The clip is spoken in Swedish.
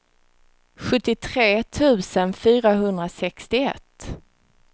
sjuttiotre tusen fyrahundrasextioett